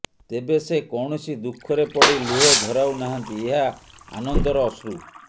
ତେବେ ସେ କୌଣସି ଦୁଃଖରେ ପଡି ଲୁହ ଝରାଉ ନାହାନ୍ତି ଏହା ଆନନ୍ଦର ଅଶ୍ରୁ